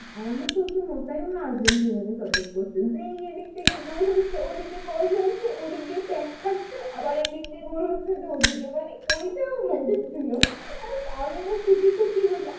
আর আমার শশুর মশাই ও আর্জেন্টিনাকে support করছিলো যেই এদিক থেকে গোল হচ্ছে ও দিকে জ্বলছে ওদিক দিয়ে প্যাক খাচ্ছে আবার এদিক দিয়ে গোল হচ্ছে তো ওদিকে মানে ওইটাও মজা ছিল আমি আবার খুঁচিয়ে খুঁচিয়ে বলছি,